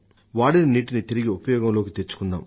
వాడిన నీటిని తిరిగి ఉపయోగంలోకి తెచ్చుకుందాం